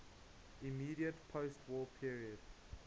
immediate postwar period